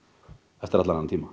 eftir allan þennan tíma